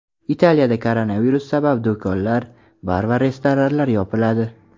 Italiyada koronavirus sabab do‘konlar, bar va restoranlar yopiladi.